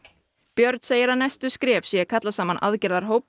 björn segir að næstu skref séu eru að kalla saman aðgerðahóp